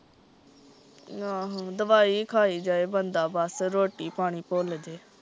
ਆਹੋ ਦਵਾਈ ਈ ਖਾਏ ਜਾਏ ਬੰਦਾ ਬਸ ਰੋਟੀ ਪਾਣੀ ਭੁੱਲਜੇ